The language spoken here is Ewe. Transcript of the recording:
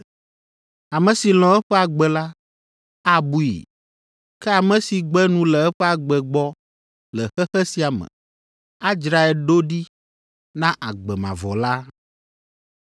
Ame si lɔ̃ eƒe agbe la, abui, ke ame si gbe nu le eƒe agbe gbɔ le xexe sia me, adzrae ɖo ɖi na agbe mavɔ la.